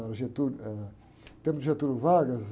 Era o... Pelo Getúlio Vargas.